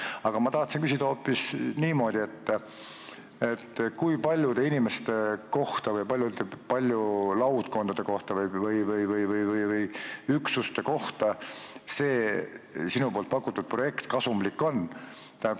Aga ma tahtsin küsida hoopis niimoodi: kui paljudele inimestele või laudkondadele või üksustele see sinu pakutud projekt kasumlik on?